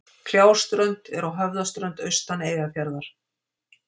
Kljáströnd er á Höfðaströnd austan Eyjafjarðar.